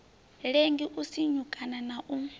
lengi u sinyukana na u